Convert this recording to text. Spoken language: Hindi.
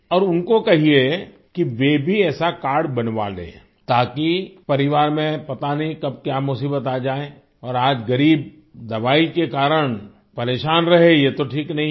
और उनको कहिये कि वे भी ऐसा कार्ड बनवा लें ताकि परिवार में पता नहीं कब क्या मुसीबत आ जाये और आज ग़रीब दवाई के कारण परेशान रहे यह तो ठीक नहीं है